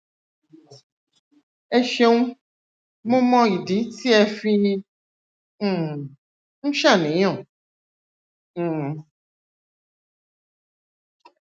ẹ ṣeun mo mọ ìdí tí ẹ fi um ń ṣàníyàn um